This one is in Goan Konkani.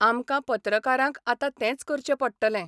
आमकां पत्रकारांक आतां तेंच करचें पडटलें.